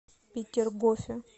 петергофе